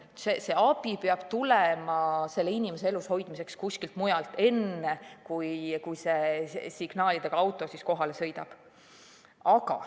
See abi peab tulema selle inimese elushoidmiseks kuskilt mujalt, enne kui see signaalidega auto kohale sõidab.